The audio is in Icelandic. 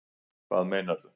Hvað meinaru